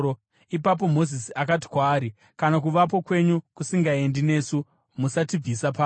Ipapo Mozisi akati kwaari, “Kana Kuvapo kwenyu kusingaendi nesu, musatibvisa pano.